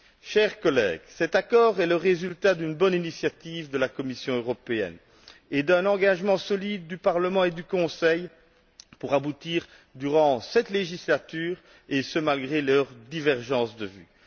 Chers collègues, cet accord est le résultat d'une bonne initiative de la Commission européenne, et d'un engagement solide du Parlement et du Conseil pour aboutir durant cette législature, et ce malgré leurs divergences de vues.